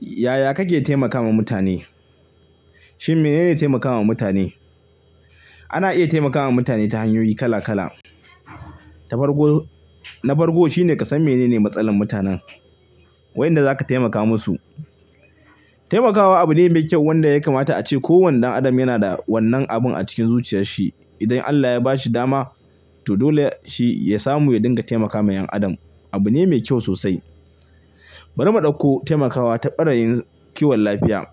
Yaya kake taimakawa mutane? Shin menene taimakawa mutane? Ana iya taimakawa mutane ta hanyoyi kala kala. Ta farko, na farko shine ka san menene matsalar mutanen wayinda zaka taimaka musu. Taimakawa abu ne mai kyau wanda ya kamata a ce kowane ɗan adam yana da wannan abun a cikin zuciyar shi. Idan Allah ya ba shi dama to dole ya-- shi ya samu ya dinga taimakawa 'yan adam. Abu ne mai kyau sosai. Bari mu ɗauko taimakawa ta ɓarayin kiwon lafiya.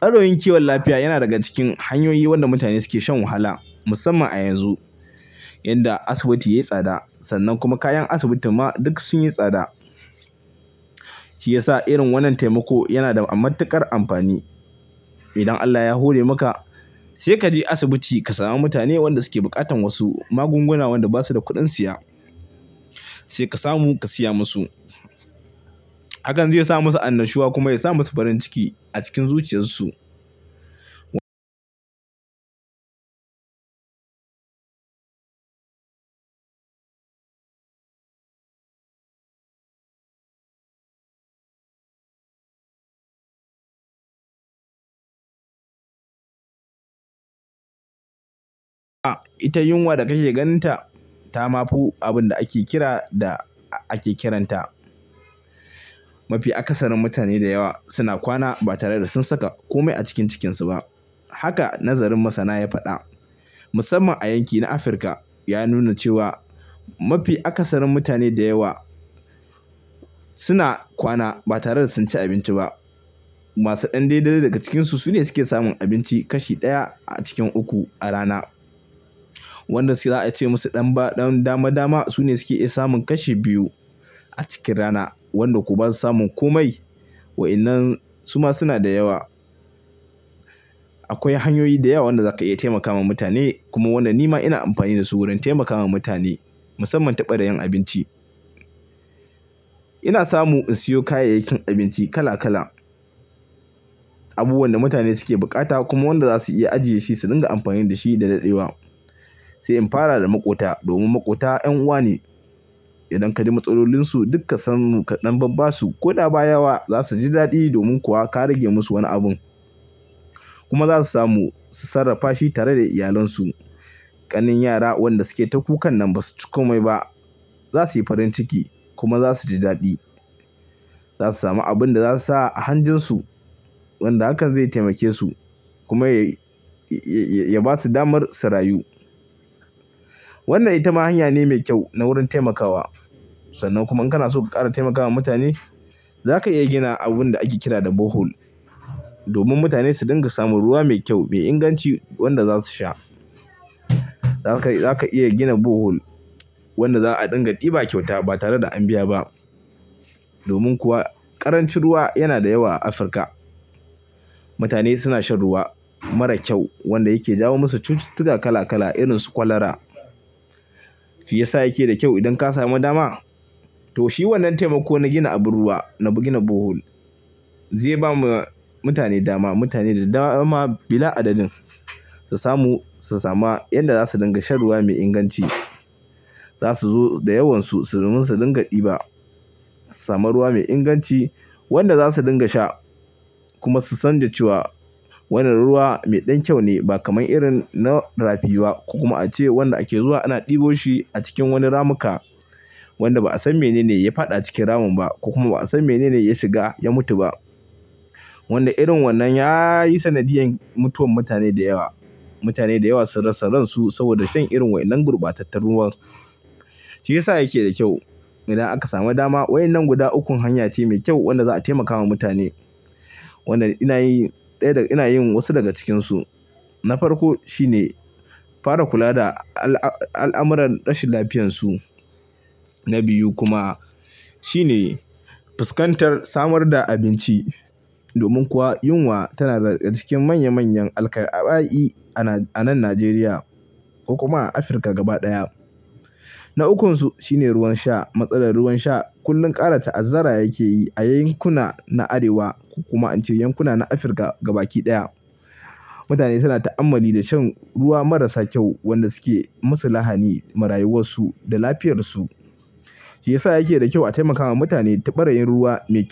Ɓaroyin kiwon lafiya yana daga cikin hanyoyi wanda mutane suke shan wahala musamman a yanzu yanda asibiti ya yi tsada sannan kuma kayan asibitin ma duk sun yi tsada. Shi yasa irin wannan taimako yana da a'matuƙar amfani. Idan Allah ya hore maka sai ka je asibiti ka samu mutane wanda suke buƙatan wasu magunguna wanda ba su da kuɗin siya sai ka samu ka siya musu. Hakan zai sa musu annashuwa kuma ya sa musu farin ciki a cikin zuciyarsu. Ita yunwa da kake ganinta ta ma fu-- abun da ake kira da ake kiranta. Mafi akasarin mutane da yawa suna kwana ba tare da sun saka kome a cikin cikinsu ba. Haka nazarin masana ya faɗa. Musamman a yanki na Afirka ya nuna cewa mafi akasarin mutane da yawa suna kwana ba tare da sun ci abinci ba. Masu ɗan daidai daga cikinsu sune suke samun abinci kashi ɗaya a cikin uku a rana. Wanda suke za'a iya ce musu ɗan ba-- ɗan dama dama sune suke iya samun kashi biyu a cikin rana. Wanda ko basu samun komai wa'inan suma suna da yawa. Akwai hanyoyi da yawa wanda za ka iya taimakawa mutane kuma wannan ni ma ina amfani da su wurin taimakawa mutane musamman ta ɓarayin abinci. Ina samu in siyo kayayyakin abinci kala kala. Abubuwan da mutane suke bukata kuma wanda za su iya ajiye shi su dinga amfani da shi da daɗewa. Sai in fara da maƙota domin maƙota 'yan uwa ne. Idan ka ji matsalolinsu duk ka sanmu ka ɗan babba su koɗa ba yawa za su ji daɗi domin kuwa ka rage musu wani abun. Kuma za su samu su sarrafa shi tare da iyalansu. Ƙanin yara wanda suke ta kukan nan ba su ci komai ba. Za su yi farin ciki kuma za su ji daɗi. Za su samu abun da za su sa a hanjarsu wanda hakan zai taimake su kuma ya-- ya--ya--ya ba su damar su rayu. Wannan ita ma hanya ne mai kyau na wurin taimakawa. Sannan kuma in kana so ka ƙara taimakawa mutane, za ka iya gina abun da ake kira da Bohol domin mutane su dinga samun ruwa mai kyau mai inganci wanda za su sha. Za ka iya gina Bohol wanda za a ɗinga ɗiba kyauta ba tare da an biya ba. Domin kuwa ƙarancin ruwa yana da yawa a Afirka. Mutane suna shan ruwa mara kyau wanda yake jawo musu cututtuka kala kala irin su kwalara. Shi yasa yake da kyau idan ka sami dama to shi wannan taimako na gina abun ruwa, na bu-- gina Bohol zai ba mu mutane dama. Mutane da dawama bila adadin su samu su sama yadda za su dinga shan ruwa mai inganci. Za su zo da yawansu su domin su ɗinga ɗiba su sama ruwa mai inganci wanda za su dinga sha kuma su san da cewa wannan ruwa mai ɗan kyau ne ba kaman irin na rafi ba. Ko kuma a ce wanda ake zuwa ana ɗibo shi a cikin wani ramuka wanda ba'a san menene ya faɗa cikin ramin ba kuma ba'a san menene ya shiga ya mutu ba. Wanda irin wannan ya yi sanadiyan mutuwar mutane da yawa. Mutane da yawa sun rasa ran su saboda shan irin wa'inan gurbatattar ruwan. Shi yasa yake da kyau idan aka sami dama wa'inan guda ukun hanya ce mai kyau wanda za'a taimakawa mutane. Wannan ina yi ɗaya da-- ina yin wasu daga cikinsu. Na farko shine fara kula da al'amuran rashin lafiyarsu. Na biyu kuma shine fuskantar samar da abinci. Domin kuwa yunwa tana daga cikin manya manyan alkai'aba'i a nan Najeriya ko kuma a Afirka gaba ɗaya. Na ukunsu shine ruwan sha. Matsalar ruwan sha kullum ƙara ta'azzara yake yi a yankuna na Arewa ko kuma in ce yankuna na Afirka gabaki ɗaya. Mutane suna ta'ammali da shan ruwa marasa kyau wanda suke musu lahani marayuwansu da lafiyarsu. Shi yasa yake da kyau a taimakawa mutane ta ɓarayin ruwa mai ky--